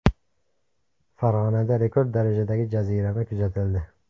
Farg‘onada rekord darajadagi jazirama kuzatildi.